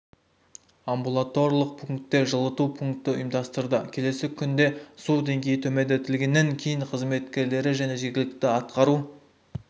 амбулаторлық пунктінде жылыту пунктті ұйымдастырды келесі күнде су деңгейі төмендетілгенінен кейін қызметкерлері және жергілікті атқару